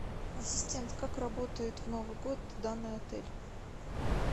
ассистент как работает в новый год данный отель